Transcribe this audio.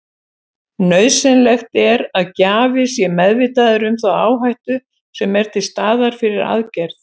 Nauðsynlegt er að gjafi sé meðvitaður um þá áhættu sem er til staðar fyrir aðgerð.